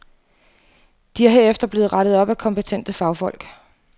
De er herefter blevet rettet af kompetente fagfolk.